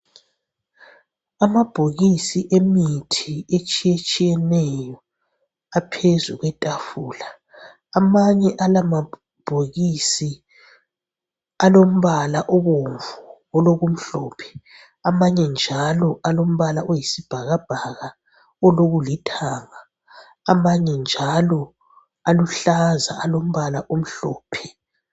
Amabhokisi emithi etshiyetshiyeneyo aphezu kwetafula, amanye ala mabhokisi alombala obomvu aloku mhlophe amanye njalo alombala oyisibhakabhaka olokulithanga amanye njalo aluhlaza alombala omhlophe.